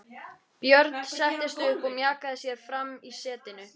Björn settist upp og mjakaði sér fram í setinu.